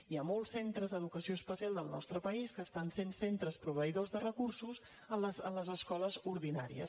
hi ha molts centres d’educació especial del nostre país que estan sent centres proveïdors de recursos a les escoles ordinàries